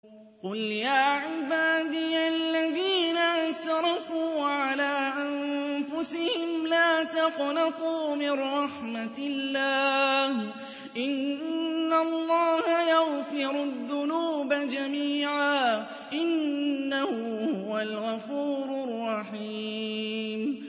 ۞ قُلْ يَا عِبَادِيَ الَّذِينَ أَسْرَفُوا عَلَىٰ أَنفُسِهِمْ لَا تَقْنَطُوا مِن رَّحْمَةِ اللَّهِ ۚ إِنَّ اللَّهَ يَغْفِرُ الذُّنُوبَ جَمِيعًا ۚ إِنَّهُ هُوَ الْغَفُورُ الرَّحِيمُ